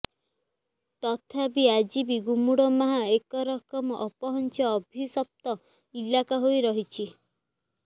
ତଥାପି ଆଜି ବି ଗୁମୁଡୁମାହା ଏକରକମ ଅପହଞ୍ଚ ଅଭିଶପ୍ତ ଇଲାକା ହୋଇ ରହିଛି